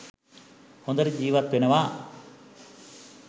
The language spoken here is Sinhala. හොඳට ජීවත් වෙනවා.